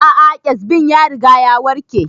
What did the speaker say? A'a kyazbin ya riga ya warke